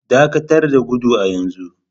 Dakatar da gudu a yanzu!